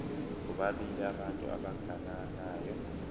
bobabili abantu abagananayo